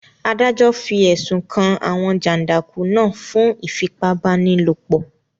Adájọ́ fi ẹ̀sùn kan àwọn jàndùkú náà fún ìfipá-báni-lòpọ̀